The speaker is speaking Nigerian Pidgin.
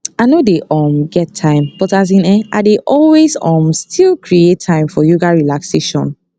i nor dey um get time but as in[um]i dey always um still create time for yoga relaxation